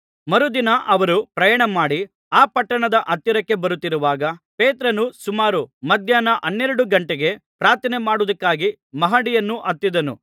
ಮರುದಿನ ಅವರು ಪ್ರಯಾಣಮಾಡಿ ಆ ಪಟ್ಟಣದ ಹತ್ತಿರಕ್ಕೆ ಬರುತ್ತಿರುವಾಗ ಪೇತ್ರನು ಸುಮಾರು ಮಧ್ಯಾಹ್ನ ಹನ್ನೆರಡು ಗಂಟೆಗೆ ಪ್ರಾರ್ಥನೆಮಾಡುವುದಕ್ಕಾಗಿ ಮಹಡಿಯನ್ನು ಹತ್ತಿದನು